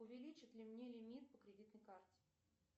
увеличат ли мне лимит по кредитной карте